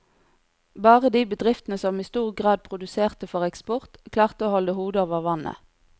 Bare de bedriftene som i stor grad produserte for eksport, klarte å holde hodet over vannet.